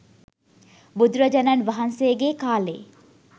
බුදුරජාණන් වහන්සේගේ කාලේ